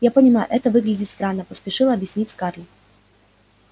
я понимаю это выглядит странно поспешила объяснить скарлетт